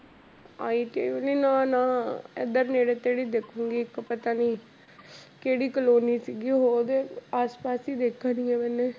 ITI ਵਾਲੀ ਨਾ ਨਾ ਇੱਧਰ ਨੇੜੇ ਤੇੜੇ ਹੀ ਦੇਖਾਂਗੀ ਇੱਕ ਪਤਾ ਨੀ, ਕਿਹੜੀ ਕਲੋਨੀ ਸੀਗੀ ਉਹਦੇ ਆਸ ਪਾਸ ਹੀ ਦੇਖਣੀ ਹੈ ਮੈਨੇ।